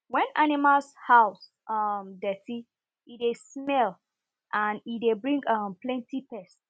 when animal house um dirty e dey smell and e dey bring um plenty pest